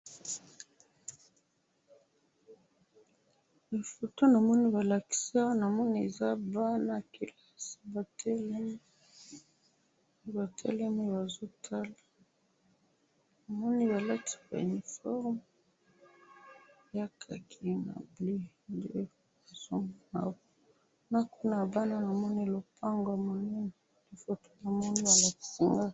Photo namoni balakisa namoni eza bana kelasi batelemi ,batelemi bazotala namoni balati ba uniformes ya khaki na bleu nde nazo mona na kuna ya bana namoni lopango monene na photo namoni balakisa nga